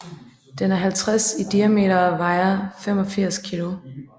Den er 50 cm i diameter og vejer 85 kg